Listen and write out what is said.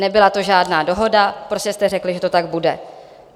Nebyla to žádná dohoda, prostě jste řekli, že to tak bude.